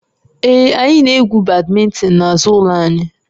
Ee, anyị na-egwu badminton n'azụ ụlọ anyị